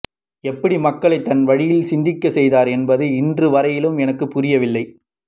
எப்படி மக்களை தன் வழியில் சிந்திக்க செய்தார் என்பது இன்று வரையிலும் எனக்கு புரியவில்லை